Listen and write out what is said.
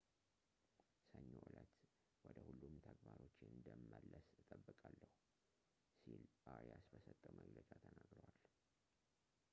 ሰኞ ዕለት ወደ ሁሉም ተግባሮቼ እንደመለስ እጠብቃለሁ ሲል አሪያስ በሰጠው መግለጫ ተናግሯል